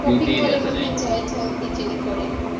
কি জনি করে